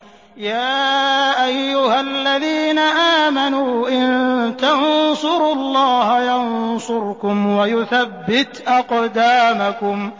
يَا أَيُّهَا الَّذِينَ آمَنُوا إِن تَنصُرُوا اللَّهَ يَنصُرْكُمْ وَيُثَبِّتْ أَقْدَامَكُمْ